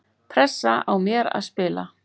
Pressa á mér að spila